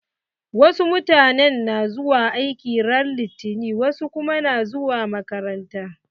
Wasu mutanen na zuwa aiki ran litani wasu kuma na zuwa makaranta.